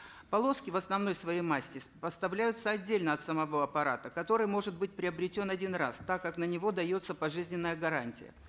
полоски в основной своей массе поставляются отдельно от самого аппарата который может быть приобретен один раз так как на него дается пожизненная гарантия